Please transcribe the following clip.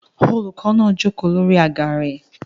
Olùkọ́ náà jókòó lórí àga rẹ̀